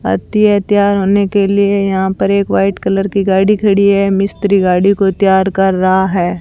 आती है तैयार होने के लिए यहां पर एक वाइट कलर की गाड़ी खड़ी है मिस्त्री गाड़ी को तैयार कर रहा है।